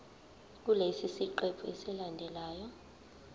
kulesi siqephu esilandelayo